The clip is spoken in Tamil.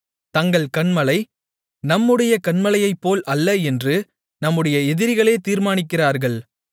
தங்கள் கன்மலை நம்முடைய கன்மலையைப்போல் அல்ல என்று நம்முடைய எதிரிகளே தீர்மானிக்கிறார்கள்